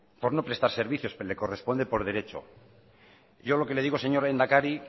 por no prestar servicios le corresponde por derecho yo lo que le digo señor lehendakari